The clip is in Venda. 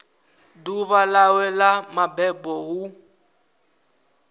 ḓuvha ḽawe ḽa mabebo hu